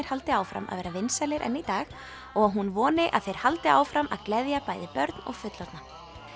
haldi áfram að vera vinsælir enn í dag og að hún voni að þeir haldi áfram að gleðja bæði börn og fullorðna